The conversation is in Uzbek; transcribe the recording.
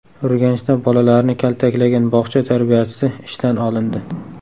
Urganchda bolalarni kaltaklagan bog‘cha tarbiyachisi ishdan olindi.